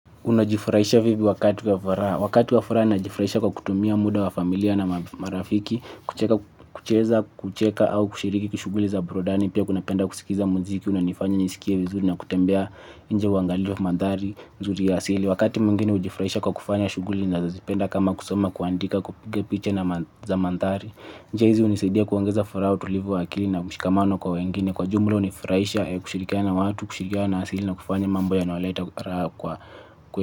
Unajifraisha vipi wakati wa furaha. Wakati wa furaa najifraisha kwa kutumia muda wa familia na marafiki, kucheza, kucheka au kushiriki kushuguli za burudani pia kunapenda kusikiza mziki unanifanya nisikie vizuri na kutembea inje uangalie mandhari uzuri ya asili. Wakati mwingine hujifraisha kwa kufanya shuguli nazozipenda kama kusoma, kuandika kupiga piche na za mantari njia hizi unisidia kuongeza furaha utulivu wa akili na mshikamano kwa wengine. Kwa jumla unifraisha kushirikiana na watu, kushirikiana na asili na kufanya mambo yanayoleta raha kwetu.